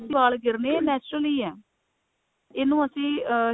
ਵਾਲ ਗਿਰਨੇ natural ਹੀ ਹੈ ਇਹਨੂੰ ਅਸੀਂ